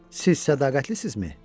Siz sədaqətlisinizmi?